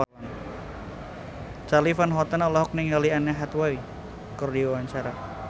Charly Van Houten olohok ningali Anne Hathaway keur diwawancara